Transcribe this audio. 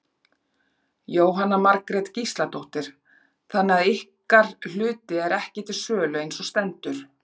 Jóhanna Margrét Gísladóttir: Þannig að ykkar hluti er ekki til sölu eins og stendur?